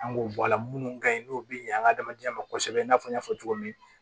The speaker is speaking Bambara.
An k'o bɔ a la minnu ka ɲi n'o bɛ ɲɛ an ka hadamadenya ma kosɛbɛ i n'a fɔ n y'a fɔ cogo min